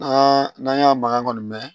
N'a n'a y'a makan kɔni mɛn